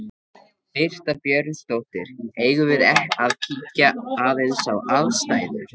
Birta Björnsdóttir: Eigum við að kíkja aðeins á aðstæður?